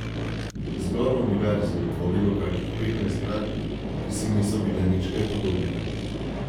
Zgolj Univerzo je tvorilo kakih petnajst zgradb, ki si niso bile nič kaj podobne.